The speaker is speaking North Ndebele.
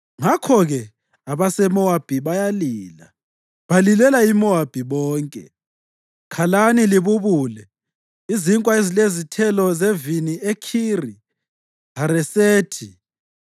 Ngakho-ke abaseMowabi bayalila, balilela iMowabi bonke. Khalani libubulele izinkwa ezilezithelo zevini eKhiri-Haresethi.